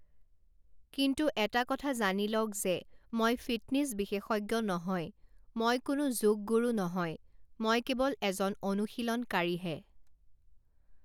কিন্তু এটা কথা জানি লওক যে মই ফিটনেছ বিশেষজ্ঞ নহয়, মই কোনো যোগ গুৰু নহয়, মই কেৱল এজন অনুশীলনকাৰীহে।